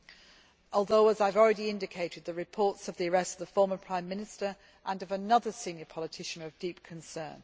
However as I have already indicated the reports of the arrest of the former Prime Minister and of another senior politician are of deep concern.